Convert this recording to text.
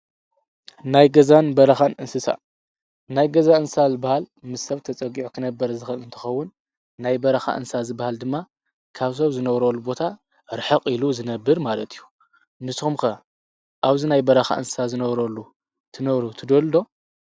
ናይ ገዛን በረኻን እንስሳ፦ ናይ ገዛ እንስሳ ዝብሃል ምስ ሰብ ተፀጊዑ ክነብር ዝክእል እንትከውን ናይ በረኻ እንስሳ ዝብሃል ድማ ካብ ሰብ ዝነብረሉ ቦታ ርሕቅ ኢሉ ዝነብር ማለት እዩ። ንስኩም ከ ኣብዚ ናይ በረኻ እንስሳ ዝነብረሉ ትነብሩ ትደልዩ ዶ?